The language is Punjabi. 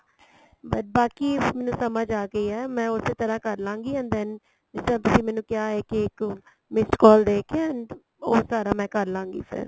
but ਬਾਕੀ ਮੈਨੂੰ ਸਮਝ ਆ ਗਈ ਏ ਮੈਂ ਉਸੇ ਤਰ੍ਹਾਂ ਕਰਲਾਗੀ and then ਜਿੱਦਾਂ ਤੁਸੀਂ ਮੈਨੂੰ ਕਿਹਾ ਹੈ ਕੀ ਇੱਕ missed call ਦੇ ਕੇ and ਉਹ ਸਾਰਾ ਮੈਂ ਕਰਲਾਂਗੀ ਫੇਰ